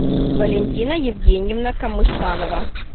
валентина евгеньевна камышанова